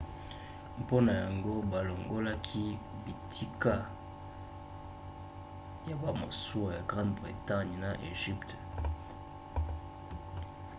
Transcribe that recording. mpona yango balongolaki bitika ya bamasuwa ya grande bretagne na egypte. longola makambo wana masuwa ya bitumba ya bato ya italie ezalaki na eloko mosusu te